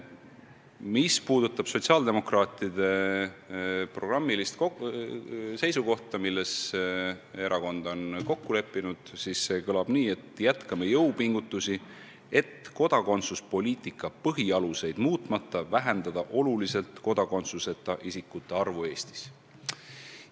Mis puudutab sotsiaaldemokraatide programmilist seisukohta, milles erakond on kokku leppinud, siis see kõlab nii: "Jätkame jõupingutusi, et kodakondsuspoliitika põhialuseid muutmata vähendada oluliselt kodakondsuseta isikute arvu Eestis.